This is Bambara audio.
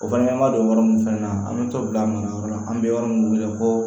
O fana ma don yɔrɔ min fɛnɛ na an bɛ t'o bila mun nayɔrɔ la an bɛ yɔrɔ min ko